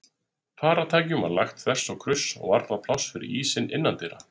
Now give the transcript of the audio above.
Farartækjum var lagt þvers og kruss og varla pláss fyrir ísina innandyra.